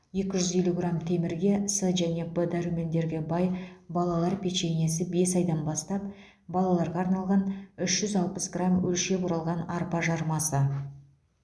екі жүз елу грамм темірге с және в дәрумендерге бай балалар печеньесі бес айдан бастап балаларға арналған үш жүз алпыс грамм өлшеп оралған арпа жармасы